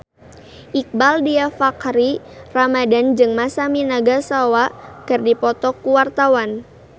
Iqbaal Dhiafakhri Ramadhan jeung Masami Nagasawa keur dipoto ku wartawan